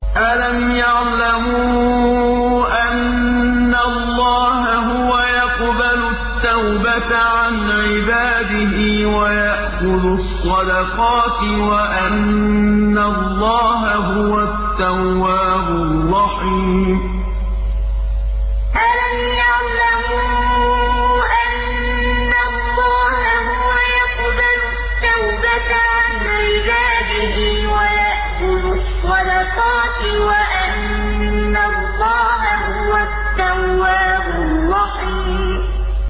أَلَمْ يَعْلَمُوا أَنَّ اللَّهَ هُوَ يَقْبَلُ التَّوْبَةَ عَنْ عِبَادِهِ وَيَأْخُذُ الصَّدَقَاتِ وَأَنَّ اللَّهَ هُوَ التَّوَّابُ الرَّحِيمُ أَلَمْ يَعْلَمُوا أَنَّ اللَّهَ هُوَ يَقْبَلُ التَّوْبَةَ عَنْ عِبَادِهِ وَيَأْخُذُ الصَّدَقَاتِ وَأَنَّ اللَّهَ هُوَ التَّوَّابُ الرَّحِيمُ